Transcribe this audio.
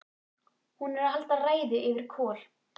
Hún er að halda ræðu yfir Kol